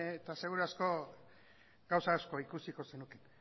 eta seguru asko gauza asko ikusiko zenuke